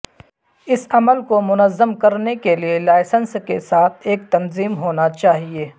اس عمل کو منظم کرنے کے لئے لائسنس کے ساتھ ایک تنظیم ہونا چاہئے